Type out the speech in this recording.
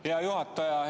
Hea juhataja!